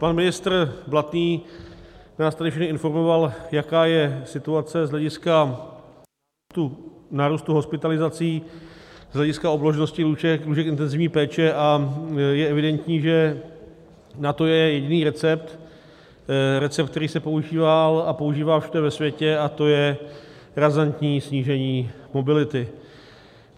Pan ministr Blatný nás tady všechny informoval, jaká je situace z hlediska nárůstu hospitalizací, z hlediska obložnosti lůžek, lůžek intenzivní péče, a je evidentní, že na to je jediný recept - recept, který se používal a používá všude ve světě, a to je razantní snížení mobility.